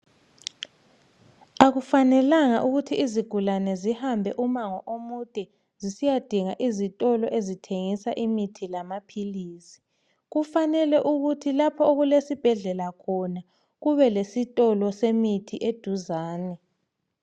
Akufanelanga ukuthi izigulane zihambe umango omude zisiya dinga izitolo ezithengisa imithi lamaphilisi kufanele ukuthi lapho okulesibhedlela khona kube lesitolo semithi eduzane.